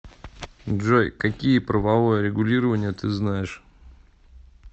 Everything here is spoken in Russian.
джой какие правовое регулирование ты знаешь